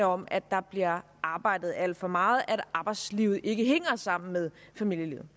om at der bliver arbejdet alt for meget at arbejdslivet ikke hænger sammen med familielivet